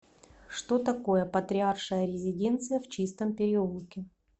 что такое патриаршая резиденция в чистом переулке